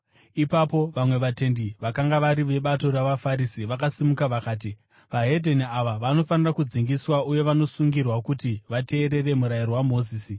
Ipapo vamwe vatendi vakanga vari vebato ravaFarisi vakasimuka vakati, “VeDzimwe Ndudzi ava vanofanira kudzingiswa uye vanosungirwa kuti vateerere murayiro waMozisi.”